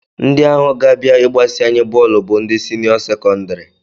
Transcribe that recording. Ndị ahụ ga-abịa ịgbasị anyị bọọlụ bụ ndị siniọ sekọndịrị